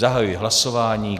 Zahajuji hlasování.